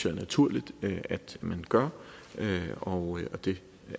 er naturligt man gør og det